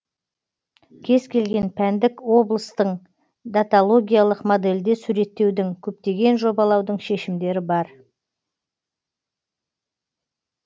кез келген пәндік облыстың даталогиялық модельде суреттеудің көптеген жобалаудың шешімдері бар